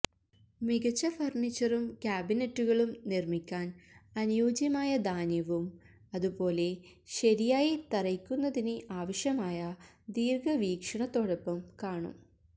മികച്ച ഫർണിച്ചറും കാബിനെറ്റുകളും നിർമ്മിക്കാൻ അനുയോജ്യമായ ധാന്യവും അതുപോലെ ശരിയായി തറയ്ക്കുന്നതിന് ആവശ്യമായ ദീർഘവീക്ഷണത്തോടൊപ്പം കാണും